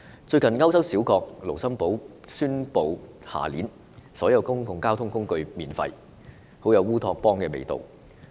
最近歐洲小國盧森堡宣布明年起所有公共交通工具免費，很有烏托邦的味道。